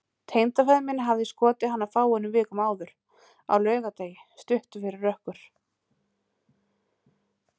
Tengdafaðir minn hafði skotið hana fáeinum vikum áður, á laugardegi, stuttu fyrir rökkur.